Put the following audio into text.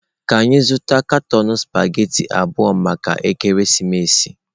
Ka anyị zụta katọn spaghetị abụọ maka ekeresimesi.